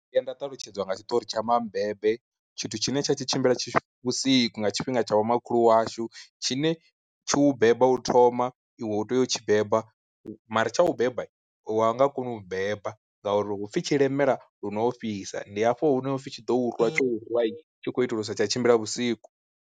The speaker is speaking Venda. Ndo vhuya nda ṱalutshedzwa nga tshiṱori tsha mabebe, tshithu tshine tsha tshi tshimbila vhusiku nga tshifhinga tsha vhomakhulu washu tshi ne tshi u beba u thoma iwe u tea u tshi beba, mara tsha u beba wa nga koni u beba ngauri hupfi tshi lemela lu no ofhisa, ndi hafho hune hapfi tshi ḓo u rwa tsho u rwa tshi khou itela uri usa tsha tshimbila vhusiku.